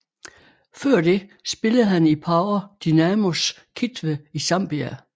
Før det spillede han i Power Dynamos Kitwe i Zambia